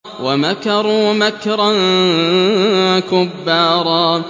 وَمَكَرُوا مَكْرًا كُبَّارًا